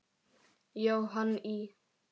Jóhann í